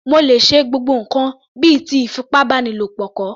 Mo lè ṣe gbogbo ǹkan bíi ti ìfipábánilo kọ̀